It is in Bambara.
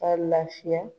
Ka lafiya